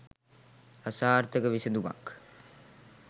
අසාර්ථක විසඳුමක්